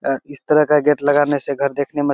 अ इस तरह का गेट लगाने से घर देखने में --